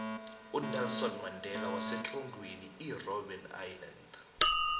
unelson mandela wasetrongweni irobeni iyilandi